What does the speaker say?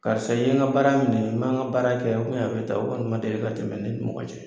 Karisa i ye n ka baara minɛ i man n ka baara kɛ a bɛ ta o kɔni man deli ka tɛmɛ ne ni mɔgɔ cɛ.